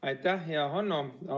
Aitäh, hea Hanno!